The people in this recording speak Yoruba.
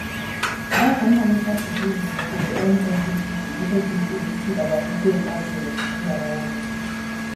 bákan náà ló ṣàpèjúwe ẹgbẹ nnepp gẹgẹ bíi èyí tí ìdàgbàsókè ń bá jù lọ nílẹ aláwọ dúdú